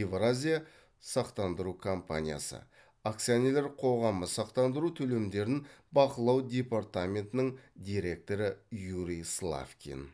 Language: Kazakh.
евразия сақтандыру компаниясы акционерлік қоғамы сақтандыру төлемдерін бақылау департаментінің директоры юрий славкин